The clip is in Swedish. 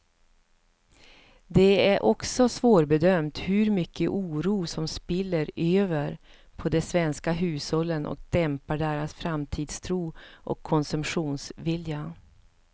Det är också svårbedömt hur mycket oro som spiller över på de svenska hushållen och dämpar deras framtidstro och konsumtionsvilja.